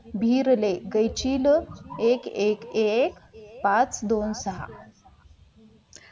बिरले गयचील एक एक एक पाच दोन सहा.